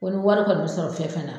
Ko ni wari kɔni bɛ sɔrɔ fɛn fɛn na